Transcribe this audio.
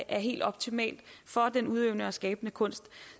er helt optimalt for den udøvende og skabende kunst